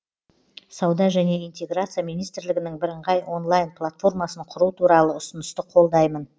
сауда және интеграция министрлігінің бірыңғай онлайн платформасын құру туралы ұсынысты қолдаймын